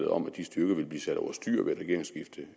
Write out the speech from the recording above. om at de styrker ville blive sat over styr ved et regeringsskifte